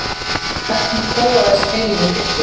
hvernig þróaðist heilinn í hryggdýrum